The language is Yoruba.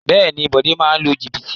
Bẹ́ẹ̀ni Bode máa ń lu jìbìtì